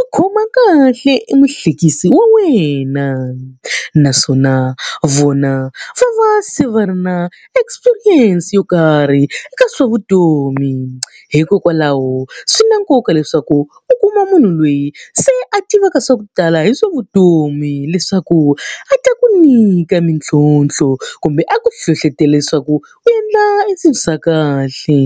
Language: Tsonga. u khoma kahle emuhlekisi wa wena. Naswona vona va va se va ri na experience yo karhi eka swa vutomi. Hikokwalaho swi na nkoka leswaku u kuma munhu loyi se a tivaka swa ku tala hi swa vutomi leswaku a ta ku nyika mintlhontlho, kumbe a ku hlohletelo leswaku u endla eswilo swa kahle.